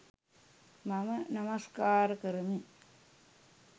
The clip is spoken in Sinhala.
මම නමස්කාර කරමි.